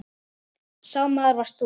Sá maður varst þú.